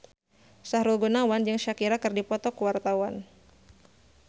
Sahrul Gunawan jeung Shakira keur dipoto ku wartawan